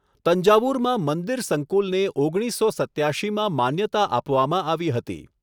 તંજાવુરમાં મંદિર સંકુલને ઓગણીસસો સત્યાશીમાં માન્યતા આપવામાં આવી હતી.